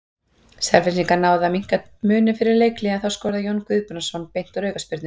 Selfyssingar náðu að minnka muninn fyrir leikhlé en þá skoraði Jón Guðbrandsson beint úr aukaspyrnu.